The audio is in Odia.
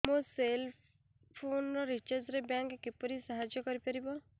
ମୋ ସେଲ୍ ଫୋନ୍ ରିଚାର୍ଜ ରେ ବ୍ୟାଙ୍କ୍ କିପରି ସାହାଯ୍ୟ କରିପାରିବ